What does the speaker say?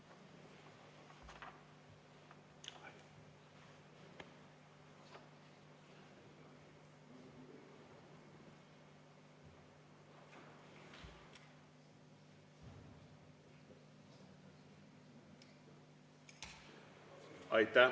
Aitäh!